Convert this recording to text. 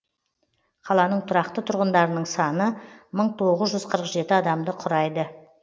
қаланың тұрақты тұрғындарының саны мың тоғыз жүз қыық жеті адамды құрайды